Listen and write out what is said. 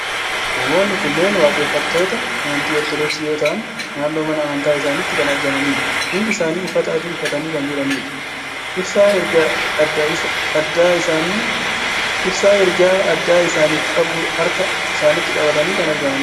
Namoonni kunneen waaqeffattoota amantii Ortoodoksii yoo ta'an, naannoo mana amantaa isaaniitti kan argamanidha. Hundi isaanii uffata adii uffatanii kan jiranidha. Ibsaa ergaa addaa isaaniif qabu harka isaaniitti qabatanii kan argamanidha.